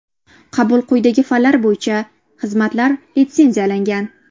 Qabul quydagi fanlar bo‘yicha: Xizmatlar litsenziyalangan.